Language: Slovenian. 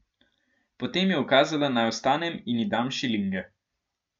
Potem je ukazala, naj vstanem in ji dam šilinge.